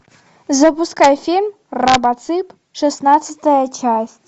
запускай фильм робоцып шестнадцатая часть